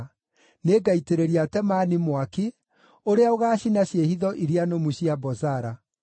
nĩĩngaitĩrĩria Temani mwaki ũrĩa ũgaacina ciĩhitho iria nũmu cia Bozara.”